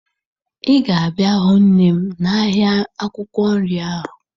Ị ga-abịa hụ nne m n'ahịa akwụkwọ nri ahụ